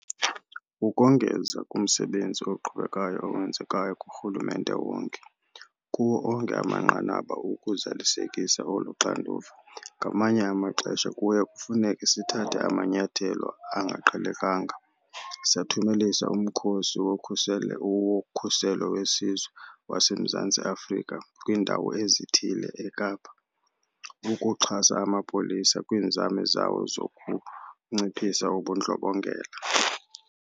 Ukongeza kumsebenzi oqhubekayo owenzekayo kurhulumente wonke, kuwo onke amanqanaba, ukuzalisekisa olu xanduva, ngamanye amaxesha kuye kufuneke sithathe amanyathelo angaqhelekanga. Sathumelisa uMkhosi woKhuselo weSizwe waseMzantsi Afrika kwiindawo ezithile eKapa ukuxhasa amapolisa kwiinzame zawo zokunciphisa ubundlobongela.